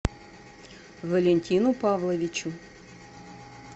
валентину павловичу